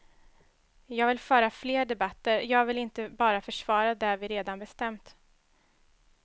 Jag vill föra fler debatter, jag vill inte bara försvara det vi redan bestämt.